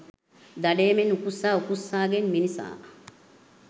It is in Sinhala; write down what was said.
දඩයමෙන් උකුස්සා උකුස්සාගෙන් මිනිසා